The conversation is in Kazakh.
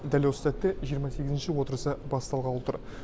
дәл осы сәтте жиырма сегізінші отырысы басталғалы тұр